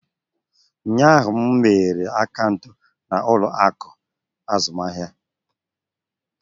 Ụnyaahụ, m meghere akaụntụ n'ụlọ akụ azụmahịa.